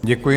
Děkuji.